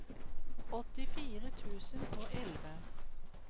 åttifire tusen og elleve